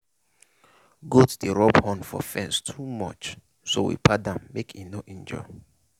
goat dey rub horn for fence too much so we pad am make e no injure.